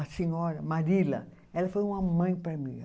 A senhora, Marila, ela foi uma mãe para mim.